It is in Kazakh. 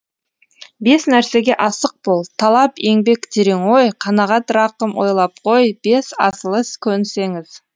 бес нәрсеге асық бол талап еңбек терең ой қанағат рақым ойлап қой бес асыл іс көнсеңіз